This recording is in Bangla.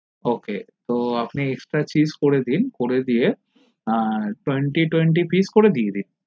ok আপনে extra cheese করে দিন করে দিয়ে twenty pice করে দিয়ে দিন